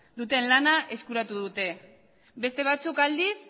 duten lana eskuratu dute beste batzuk aldiz